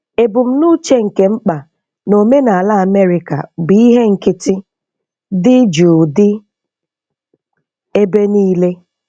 Ebumnuche nke mkpa na omenala Amerika bụ ihe nkịtị. Dị jụụ dị ebe niile.